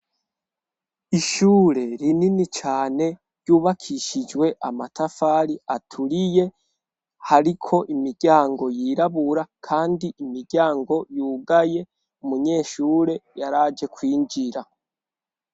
Ishure rinini cane ryubakishijwe amatafari aturiye hariko imiryango yirabura kandi imiryango yugaye umunyeshure yaraje kwinjira.